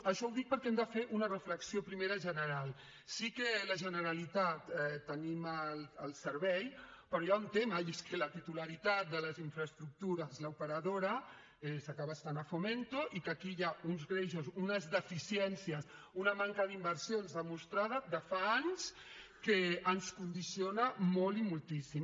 això ho dic perquè hem de fer una reflexió primera general sí que la generalitat tenim el servei però hi ha un tema i és que la titularitat de les infraestructures l’operadora acaba estant a fomento i que aquí hi ha uns greuges unes deficiències una manca d’inversions demostrada de fa anys que ens condiciona molt i moltíssim